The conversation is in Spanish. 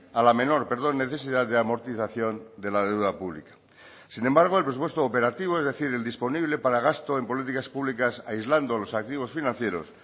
a la menor necesidad de amortización de la deuda pública sin embargo el presupuesto operativo es decir el disponible para gasto en políticas públicas aislando los activos financieros